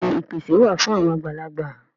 Bẹ́ẹ̀ni ìpèsè wà fún àwọn àgbàlagbà